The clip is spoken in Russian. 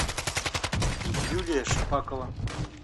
юлия шпакова